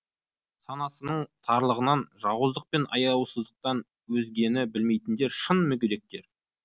санасының тарлығынан жауыздық пен аяусыздықтан өзгені білмейтіндер шын мүгедектер